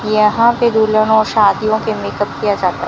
यहां पे दुल्हन और शादियों के मेकअप किया जाता--